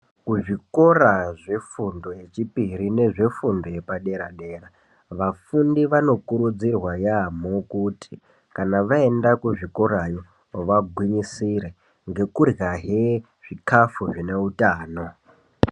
Kuzvikora zvefundo yechipiri nezvefundo yepadera dera vafundi vanokurudzirwa yampho kuti kana vaenda kuzvikorayo vagwinyisire ngekuryahe zvikafu zvine utano.